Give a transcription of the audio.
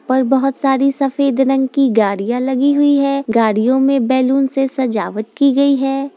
पर बहोत सारी सफ़ेद रंग की गाड़ियां लगी हुई है गाड़ियों में बैलून से सजावट की गयी है।